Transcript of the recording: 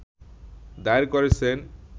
দায়ের করেছেন